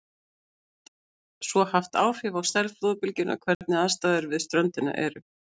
Það getur svo haft áhrif á stærð flóðbylgjunnar hvernig aðstæður við ströndina eru.